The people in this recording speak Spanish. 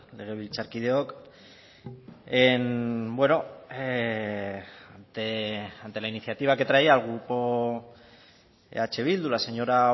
legebiltzarkideok bueno ante la iniciativa que traía el grupo eh bildu la señora